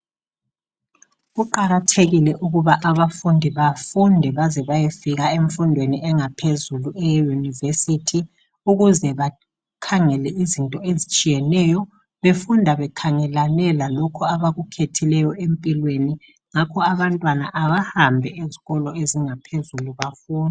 Kuqakathekike ukuba abafundi bafunde baze bayefika emfundweni yanga phezulu eye yunivesithi ukuze bakhangele izinto ezitshiyeneyo befunda bekhangelane lalokho abaku khethileyo empilweni ngakho abantwana abahambe ezikolo ezinga phezulu bafunde.